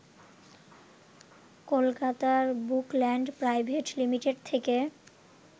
কলকাতার Bookland private limited থেকে